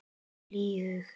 Með hlýhug.